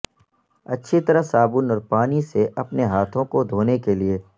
اچھی طرح صابن اور پانی سے اپنے ہاتھوں کو دھونے کے لئے